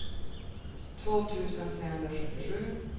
två tusen trehundrasjuttiosju